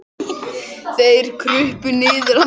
Þeir krupu niður að Magga.